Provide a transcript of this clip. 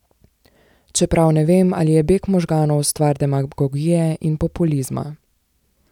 Čeprav ne vem, ali je beg možganov stvar demagogije in populizma.